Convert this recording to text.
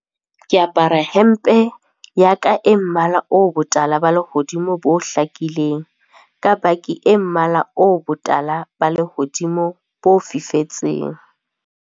Ke apara hempe ya ka e mmala o botala ba lehodimo bo hlakileng ka baki e mmala o botala ba lehodimo bo fifetseng.